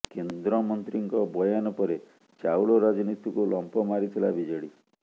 କେନ୍ଦ୍ରମନ୍ତ୍ରୀଙ୍କ ବୟାନ ପରେ ଚାଊଳ ରାଜନୀତିକୁ ଲମ୍ପ ମାରିଥିଲା ବିଜେଡି